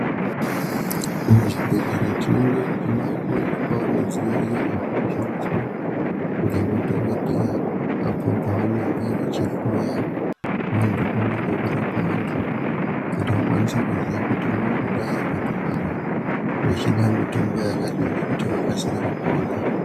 Muzvibhedhlera tinoona kuti maakuwanikwao midziyo iyo yava kushandiswa nemadhodheya apo pavanenge vachihloya vanthu pamwe nekutapa vanthu kuti vakwanise kuziya kuti unombodai vanthu ava vachida mitombo yakadini kuti vakasike kupona.